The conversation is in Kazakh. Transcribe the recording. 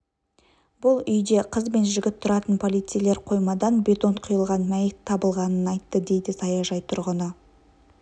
бұл үйде қыз бен жігіт тұратын полицейлер қоймадан бетон құйылған мәйіт табылғанын айтты дейді саяжай тұрғыны